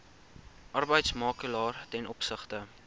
arbeidsmakelaar ten opsigte